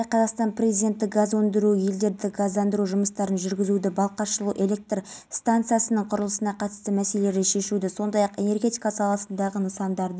тоқалы жас жігітпен көңіл қосқанына ашуланған жамалиев жандайшаптарымен жабылып сол әлібиді өлімші етіп сабап тастаған